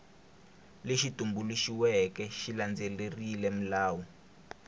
lexi tumbuluxiweke xi landzelerile milawu